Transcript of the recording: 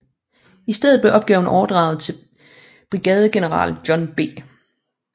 I stedet blev opgaven overdraget til brigadegeneral John B